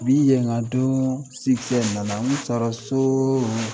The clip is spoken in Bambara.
Bi ye nka don nana n kun taara sooo